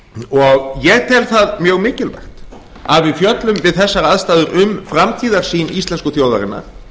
framtíðarsýn ég tel það mjög mikilvægt að við fjöllum við þessar aðstæður um framtíðarsýn íslensku þjóðarinnar